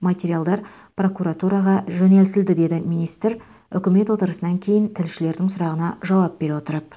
материалдар прокуратураға жөнелтілді деді министр үкімет отырысынан кейін тілшілердің сұрағына жауап бере отырып